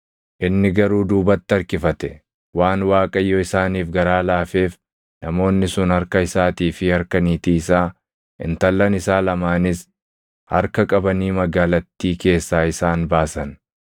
Inni garuu duubatti harkifate; waan Waaqayyo isaaniif garaa laafeef namoonni sun harka isaatii fi harka niitii isaa, intallan isaa lamaanis harka qabanii magaalattii keessaa isaan baasan.